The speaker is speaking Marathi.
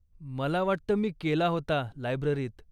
मला वाटतं मी केला होता, लायब्ररीत.